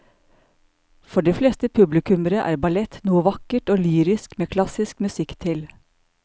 For de fleste publikummere er ballett noe vakkert og lyrisk med klassisk musikk til.